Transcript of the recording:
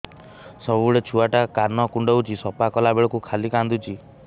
ସବୁବେଳେ ଛୁଆ ଟା କାନ କୁଣ୍ଡଉଚି ସଫା କଲା ବେଳକୁ ଖାଲି କାନ୍ଦୁଚି